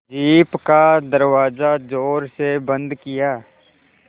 jeep का दरवाज़ा ज़ोर से बंद किया